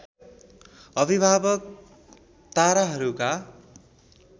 अभिभावक ताराहरूका